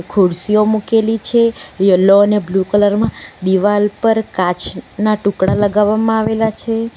ખુરશીઓ મૂકેલી છે યલો અને બ્લુ કલર માં દિવાલ પર કાચના ટુકડા લગાવવામાં આવેલા છે.